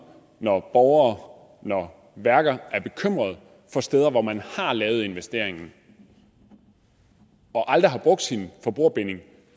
når borgere når værker er bekymret for steder hvor man har lavet investeringen og aldrig har brugt sin forbrugerbinding